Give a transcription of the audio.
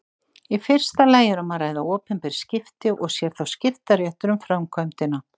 Í fyrsta lagi er um að ræða opinber skipti og sér þá skiptaréttur um framkvæmdina.